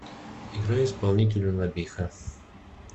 играй исполнителя набиха